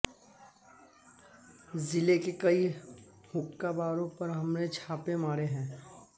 जिले के कई हुक्का बारों पर हमने छापे मारे हैं